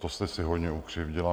To jste si hodně ukřivdila.